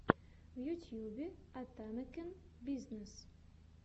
в ютьюбе атамекен бизнес